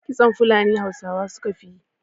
Kitson Funali Hausawa su ka fi yi